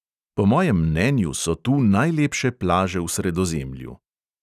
Po mojem mnenju so tu najlepše plaže v sredozemlju.